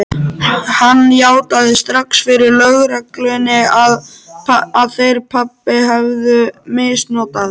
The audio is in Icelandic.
Hann játaði strax fyrir lögreglunni að þeir pabbi hefðu misnotað